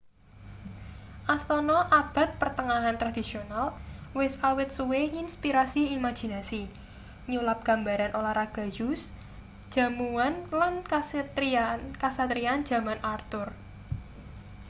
astana abad pertengahan tradisional wis awit suwe nginspirasi imajinasi nyulap gambaran olahraga joust jamuan lan kasatriyan jaman arthur